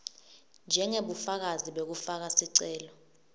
njengebufakazi bekufaka sicelo